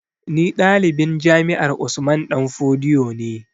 Ni ɗalibin jami'ar Usman danfodiyo ne